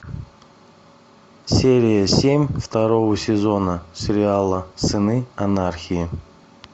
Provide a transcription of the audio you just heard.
серия семь второго сезона сериала сыны анархии